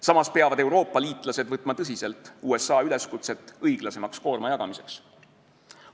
Samas peavad Euroopa liitlased võtma tõsiselt USA üleskutset koorma õiglasemaks jagamiseks.